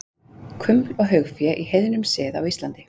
Kuml og haugfé í heiðnum sið á Íslandi.